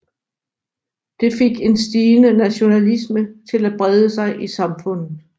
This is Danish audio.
Det fik en stigende nationalisme til at brede sig i samfundet